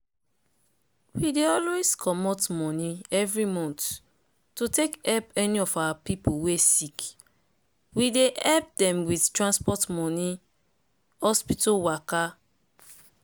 we dey always comot money every month to take help any of our people wey sick. we dey help dem with tansport money hospital waka.